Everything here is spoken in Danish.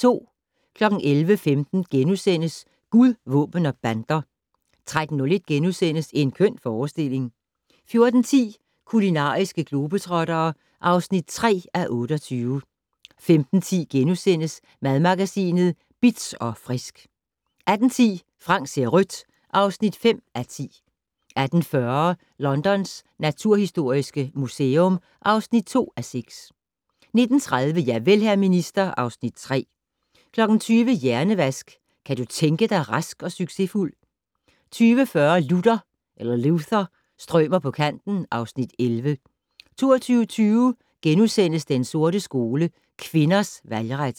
11:15: Gud, våben og bander * 13:01: En køn fremstilling * 14:10: Kulinariske globetrottere (3:28) 15:10: Madmagasinet Bitz & Frisk * 18:10: Frank ser rødt (5:10) 18:40: Londons naturhistoriske museum (2:6) 19:30: Javel, hr. minister (Afs. 3) 20:00: Hjernevask - Kan du tænke dig rask og succesfuld? 20:40: Luther - strømer på kanten (Afs. 11) 22:20: Den sorte skole: Kvinders valgret *